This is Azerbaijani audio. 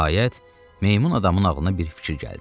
Nəhayət, meymun adamın ağlına bir fikir gəldi.